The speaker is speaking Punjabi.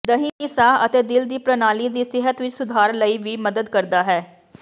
ਦਹੀਂ ਸਾਹ ਅਤੇ ਦਿਲ ਦੀ ਪ੍ਰਣਾਲੀ ਦੀ ਸਿਹਤ ਵਿਚ ਸੁਧਾਰ ਲਈ ਵੀ ਮਦਦ ਕਰਦਾ ਹੈ